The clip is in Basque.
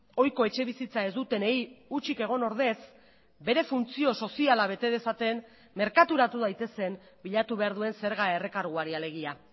ohiko etxebizitza ez dutenei utzik egon ordez bere funtzio soziala bete dezaten merkaturatu daitezen bilatu behar duen zerga errekarguari alegia